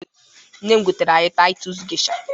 NNe m gotere anyị Taịtus Gesha.